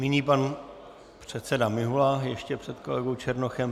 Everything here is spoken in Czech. Nyní pan předseda Mihola ještě před kolegou Černochem.